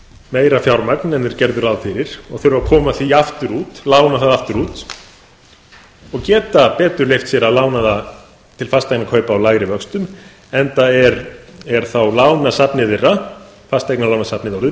meira fjármagn en þeir gerðu ráð fyrir og þurfa að koma því aftur út lána það aftur út og geta betur leyft sér að lána það til fasteignakaupa á lægri vöxtum enda er þá fasteignalánasafnið þeirra orðið